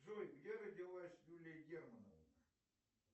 джой где родилась юлия германова